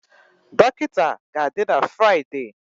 Dọkịta ga-adị n'ehihie Fraịdee